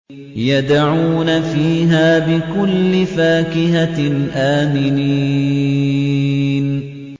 يَدْعُونَ فِيهَا بِكُلِّ فَاكِهَةٍ آمِنِينَ